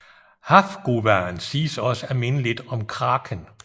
Hafguvaen siges også at minde lidt om kraken